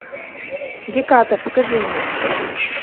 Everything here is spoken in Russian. геката покажи мне